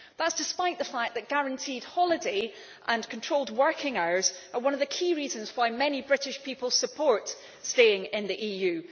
That is despite the fact that guaranteed holiday and controlled working hours are one of the key reasons why many British people support staying in the EU.